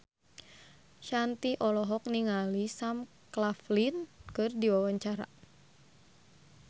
Shanti olohok ningali Sam Claflin keur diwawancara